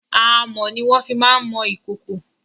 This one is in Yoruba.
Amọ̀ ni wọ́n fi má ń mọ ìkòkò.